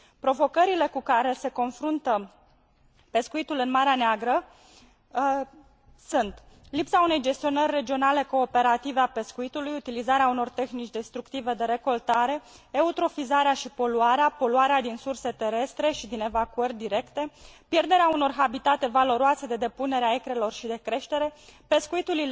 Provocările cu care se confruntă pescuitul în Marea Neagră sunt lipsa unei gestionări regionale cooperative a pescuitului, utilizarea unor tehnici destructive de recoltare, eutrofizarea și poluarea, poluarea din surse terestre și din evacuări directe, pierderea unor habitate valoroase de depunere a icrelor și de creștere, și pescuitul.